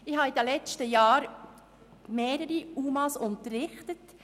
Ich habe in den letzten Jahren mehrere UMA unterrichtet.